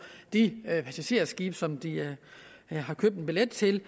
de passagerskibe som de har købt en billet til